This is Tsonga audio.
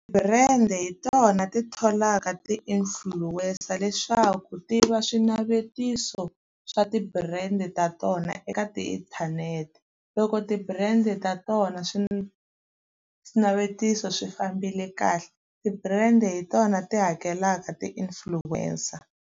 Ti-brand-e hi tona ti tholaka ti-influencer leswaku ti va swinavetiso swa ti-brand ta tona eka ti inthanete. Loko ti-brand ta tona swinavetiso swi fambile kahle ti-brand-e hi tona ti hakelaka ti-influencer.